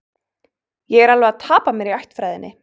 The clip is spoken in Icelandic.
Ég er alveg að tapa mér í ættfræðinni